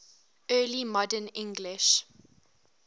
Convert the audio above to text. early modern english